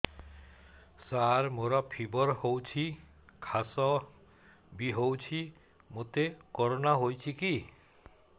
ସାର ମୋର ଫିବର ହଉଚି ଖାସ ବି ହଉଚି ମୋତେ କରୋନା ହେଇଚି କି